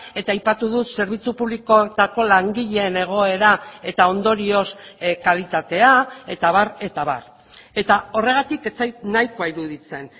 eta aipatu dut zerbitzu publikoetako langileen egoera eta ondorioz kalitatea eta abar eta abar eta horregatik ez zait nahikoa iruditzen